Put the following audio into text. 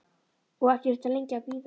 Og ekki þurfti lengi að bíða.